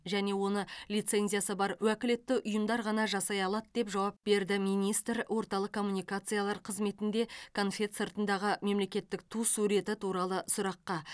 және оны лицензиясы бар уәкілетті ұйымдар ғана жасай алады деп жауап берді министр орталық коммуникациялар қызметінде конфет сыртындағы мемлекеттік ту суреті туралы сұраққа